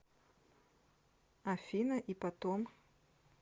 афина и потом